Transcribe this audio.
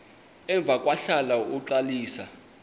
emva kwahlala uxalisa